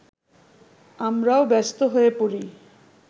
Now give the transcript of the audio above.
আমরাও ব্যস্ত হয়ে পড়ি